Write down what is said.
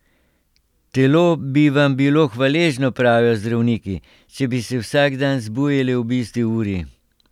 Telo bi vam bilo hvaležno, pravijo zdravniki, če bi se vsak dan zbujali ob isti uri.